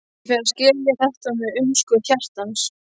Ég fer að skilja þetta með umskurð hjartans.